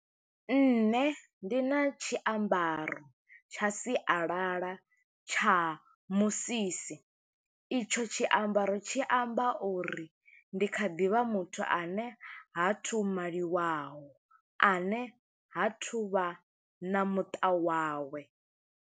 Nṋe ndi na tshiambaro tsha sialala tsha musisi, i tsho tshiambaro tshi amba uri ndi kha ḓi vha muthu, ane ha thu maliwaho, ane ha thu vha na muṱa wawe.